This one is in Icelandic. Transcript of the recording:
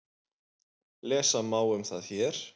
Lesa má um það hér.